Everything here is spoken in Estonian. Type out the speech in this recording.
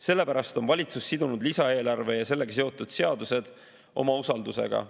Sellepärast on valitsus sidunud lisaeelarve ja sellega seotud seadused oma usaldusega.